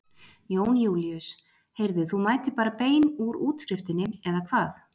Jón Júlíus: Heyrðu þú mætir bara bein úr útskriftinni eða hvað?